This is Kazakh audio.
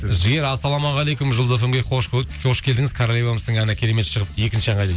жігер ассалаумағалейкум жұлдыз фм ге қош келдіңіз королевамсың әні керемет шығыпты екінші ән қайда